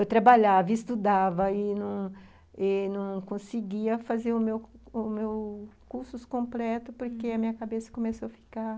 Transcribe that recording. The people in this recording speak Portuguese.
Eu trabalhava, estudava e não e não conseguia fazer o meu o meu os meus cursos completos porque a minha cabeça começou a ficar...